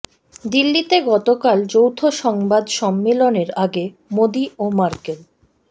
দিল্লিতে গতকাল যৌথ সংবাদ সম্মেলনের আগে মোদি ও মার্কেল